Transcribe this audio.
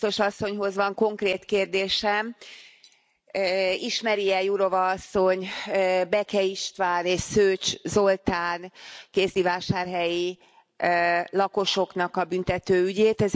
Jurová biztos asszonyhoz van konkrét kérdésem. Ismeri e Jurová asszony Beke István és Szőcs Zoltán kézdivásárhelyi lakosoknak a büntető ügyét?